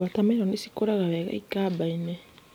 Wota meroni nĩ cikũraga wega ikambainĩ